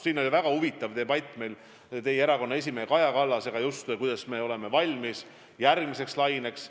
Meil oli väga huvitav debatt teie erakonna esimehe Kaja Kallasega, kuidas me oleme valmis järgmiseks laineks.